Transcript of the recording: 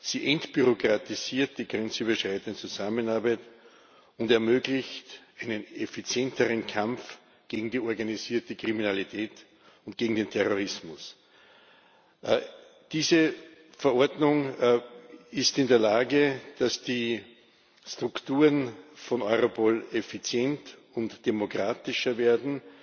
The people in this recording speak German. Sie entbürokratisiert die grenzüberschreitende Zusammenarbeit und ermöglicht einen effizienteren Kampf gegen die organisierte Kriminalität und gegen den Terrorismus. Diese Verordnung ist in der Lage, dass die Strukturen von Europol effizienter und demokratischer werden,